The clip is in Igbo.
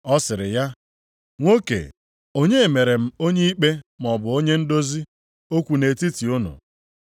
Ọ sịrị ya, “Nwoke, onye mere m onye ikpe maọbụ onye ndozi okwu nʼetiti unu?”